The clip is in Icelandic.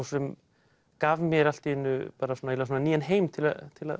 sem gaf mér allt í einu nýjan heim til að